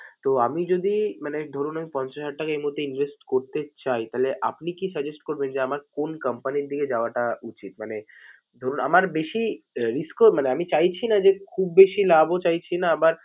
তো আমি যদি মানে ধরুন আমি পঞ্চাশ হাজার টাকা এই মূহুর্তে invest করতে চাই তাহলে আপনি কী suggest করবেন যে, আমার কোন company র দিকে যাওয়াটা উচিত? মানে ধরুন আমার বেশি risk ও মানে আমি চাইছিনা যে খুব বেশি লাভ ও চাইছি না আবার